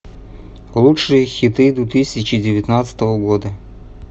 лучшие хиты две тысячи девятнадцатого года